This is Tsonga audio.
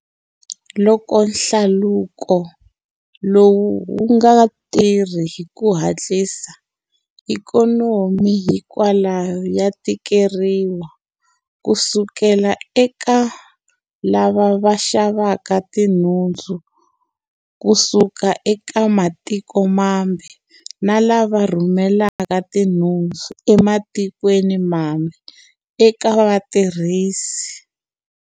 Loko hlaluko lowu wu nga tirhi hi ku hatlisa, ikhonomi hinkwayo ya tikeriwa, kusuka eka lava xa vaka tinhundzu kusuka eka matiko mambe na lava rhumelaka tinhundzu ematikweni mambe eka vatirhisi.